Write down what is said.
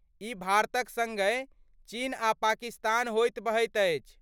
ई भारतक सङ्गहि चीन आ पाकिस्तान होइत बहैत अछि।